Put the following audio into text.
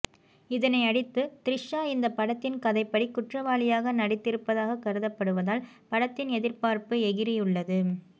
இதனையடுத்து த்ரிஷா இந்த படத்தின் கதைப்படி குற்றவாளியாக நடித்திருப்பதாக கருதப்படுவதால் படத்தின் எதிர்பார்ப்பு எகிறியுள்ளது